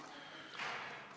Aitäh!